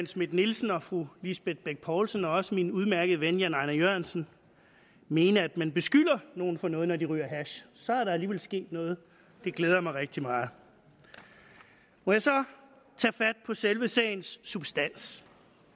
schmidt nielsen og fru lisbeth bech poulsen og også min udmærkede ven herre jan ejnar jørgensen mene at man beskylder nogen for noget når de ryger hash så er der alligevel sket noget det glæder mig rigtig meget må jeg så tage fat på selve sagens substans